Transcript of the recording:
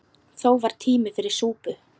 Þó var tími fyrir súpu.